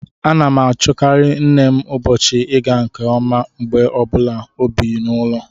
M na-achọkarị nne m ụbọchị ịga nke ọma mgbe ọ bụla o bi n'ụlọ